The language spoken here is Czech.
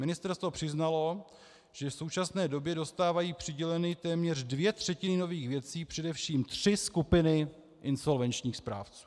Ministerstvo přiznalo, že v současné době dostávají přiděleny téměř dvě třetiny nových věcí především tři skupiny insolvenčních správců.